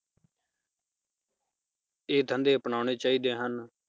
ਇਹ ਧੰਦੇ ਅਪਨਾਉਣੇ ਚਾਹੀਦੇ ਹਨ